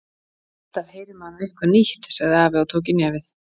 Alltaf heyrir maður nú eitthvað nýtt sagði afi og tók í nefið.